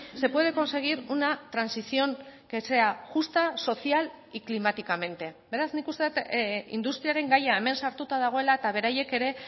se puede conseguir una transición que sea justa social y climáticamente beraz nik uste dut industriaren gaia hemen sartuta dagoela eta beraiek ere